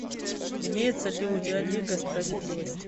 имеется ли у тебя лига справедливости